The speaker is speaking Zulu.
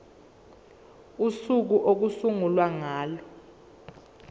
usuku okuyosungulwa ngalo